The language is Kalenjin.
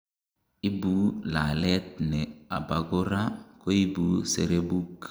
ibu lalet ne abakora koibu serebuk